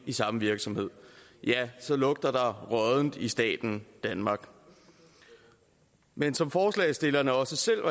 i samme virksomhed så lugter der råddent i staten danmark men som forslagsstillerne også selv